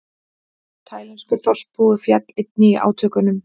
Taílenskur þorpsbúi féll einnig í átökunum